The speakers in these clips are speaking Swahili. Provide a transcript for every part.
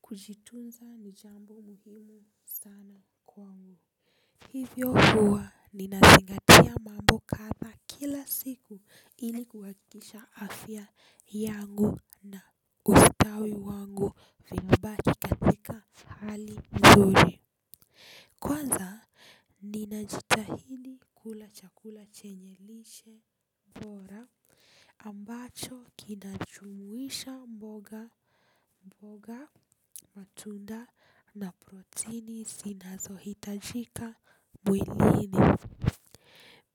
Kujitunza ni jambo muhimu sana kwangu. Hivyo huwa ninazingatia mambo kadha kila siku ili kuhakikisha afya yangu na ustawi wangu vinabaki katika hali nzuri. Kwanza ninajitahidi kula chakula chenye lishe bora ambacho kinajumuisha mboga mboga matunda na protini zinazohitajika mwilini.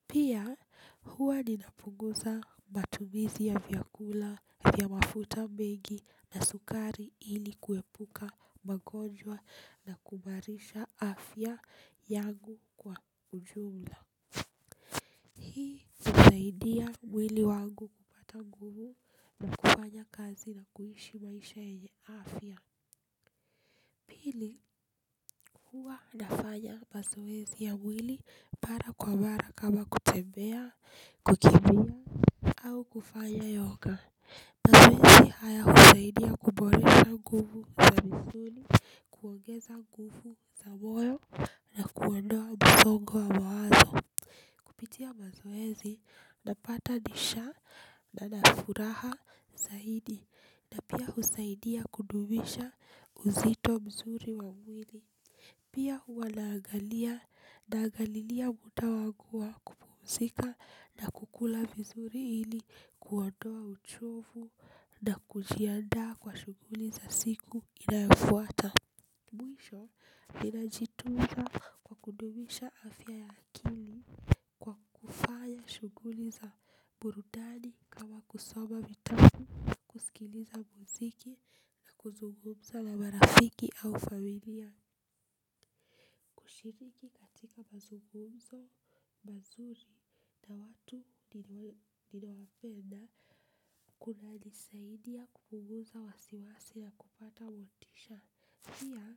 Pia huwa ninapunguza matumizi ya vyakula vya mafuta mengi na sukari ili kuepuka magonjwa na kuimarisha afya yangu kwa ujumla. Hii husaidia mwili wangu kupata nguvu na kufanya kazi na kuishi maisha yenye afya. Pili huwa nafanya mazoezi ya mwili mara kwa mara kama kutembea kukimbia au kufanya yoga. Mazoezi haya kusaidia kuboresha nguvu ya misuli, kuongeza nguvu za moyo na kuondoa msongo wa mawazo kupitia mazoezi napatanisha nina furaha zaidi na pia husaidia kudumisha uzito mzuri wa mwili. Pia huwa naangalia naangalilia muda wangu wa kupumzika na kukula vizuri ili kuondoa uchovu na kujiandaa kwa shughuli za siku inayofuata. Mwisho ninajitunza kwa kudumisha afya ya akili kwa kufanya shughuli za burudani kama kusoma vitabu kusikiliza muziki na kuzungumza na marafiki au familia. Kushiriki katika mazungumzo mazuri na watu ninawapenda kunanisaidia kupunguza wasiwasi ya kupata motisha pia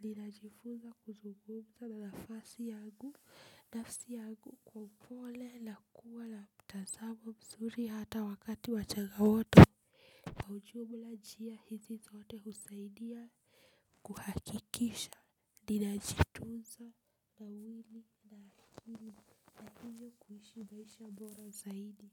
ninajifunza kuzungumza na nafasi yangu nafsi yangu kwa upole na kuwa na mtazamo mzuri hata wakati wa changamoto. Kwa ujumla njia hizi zote husaidia kuhakikisha ninajitunza na mwili na akili na hivyo kuishi maisha bora zaidi.